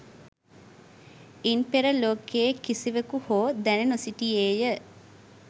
ඉන් පෙර ලෝකයේ කිසිවෙකු හෝ දැන නොසිටියේය.